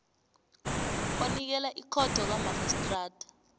onikela ikhotho kamarhistrada